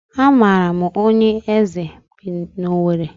A maara m onye eze bi n'Owere.